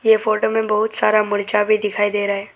ये फोटो में बहुत सारा मर्चा भी दिखाई दे रहा है।